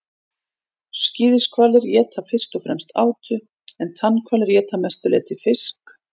skíðishvalir éta fyrst og fremst átu en tannhvalir éta að mestu leyti fisk